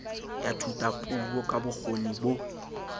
ya thutapuo ka bokgoni bo